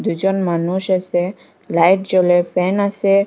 দুইজন মানুষ আসে লাইট জ্বলে ফ্যান আসে।